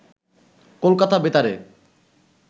কলকাতা বেতারে